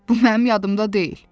Bu mənim yadımda deyil.